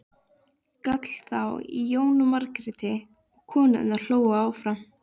gall þá í Jónu Margréti og konurnar hlógu áfram.